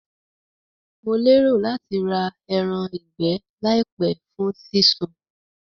Mo lérò láti ra eran ìgbẹ́ làìpé fún sí sun